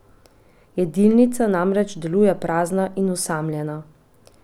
Jedilnica namreč deluje prazna in osamljena.